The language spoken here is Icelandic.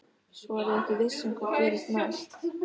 Svo er ég ekki viss um hvað gerist næst.